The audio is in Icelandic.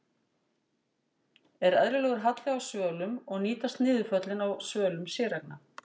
Er eðlilegur halli á svölum og nýtast niðurföll á svölum séreigna?